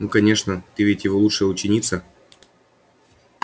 ну конечно ты ведь его лучшая ученица